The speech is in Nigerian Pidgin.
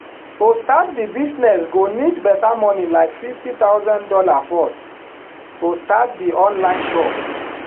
to start di business go need better money like fifty thousand dollars first to start di online shop